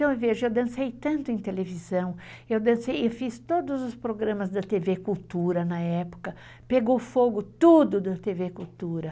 Então, eu vejo, eu dancei tanto em televisão, eu fiz todos os programas da TV Cultura na época, pegou fogo tudo da TV Cultura.